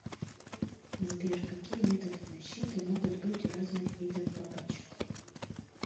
сбер какие методы защиты могут быть у разных видов бабочек